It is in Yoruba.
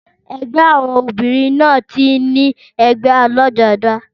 Ẹgbẹ́ àwọn obìrin náà tí n ní ègbé alájodá